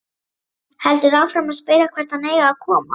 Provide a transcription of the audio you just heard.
Heldur áfram að spyrja hvert hann eigi að koma.